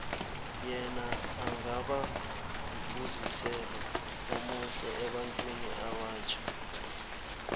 yena angaba mfuziselo omuhle ebantwini abatjha